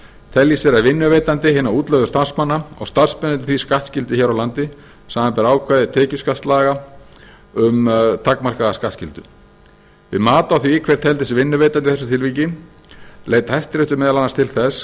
teljist vera vinnuveitandi hinna útlögðu starfsmanna og starfsmennirnir því skattskyldir hér á landi samanber ákvæði tekjuskattslaga um takmarkaða skattskyldu við mat á því hver teldist vinnuveitandi í þessu tilviki leit hæstiréttur meðal annars til þess